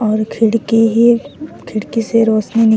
और खिड़की हे और खिड़की से रोशनी निक --